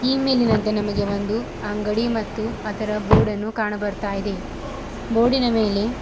ಈ ಮೇಲಿನಂತೆ ನಮಗೆ ಒಂದು ಅಂಗಡಿ ಮತ್ತು ಅದರ ಬೋರ್ಡನ್ನು ಕಾಣ ಬರ್ತಾ ಇದೆ ಬೋರ್ಡಿನ ಮೇಲೆ--